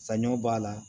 Saɲɔ b'a la